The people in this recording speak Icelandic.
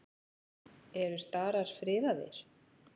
Eru starar friðaðir?